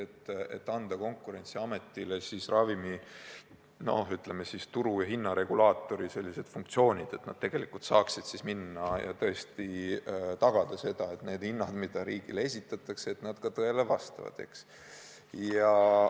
Ma pean silmas ettepanekut anda Konkurentsiametile ravimi turuhinna regulaatori funktsioonid – et amet saaks tõesti tagada selle, et need hinnad, mis riigile esitatakse, ka tõele vastavad.